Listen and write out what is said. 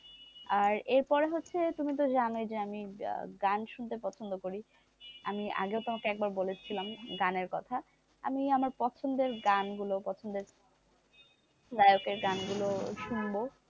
আর এর পরে হচ্ছে তুমি তো জানোই যে আমি গান শুনতে পছন্দ করি, আমি আগেও তোমাকে একবার বলেছিলাম গানের কথা আমি আমার পছন্দের গানগুলো পছন্দের গায়কের গানগুলো শুনবো,